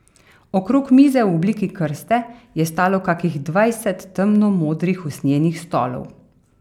Okrog mize v obliki krste je stalo kakih dvajset temno modrih usnjenih stolov.